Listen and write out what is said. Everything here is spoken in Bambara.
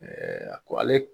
a ko ale.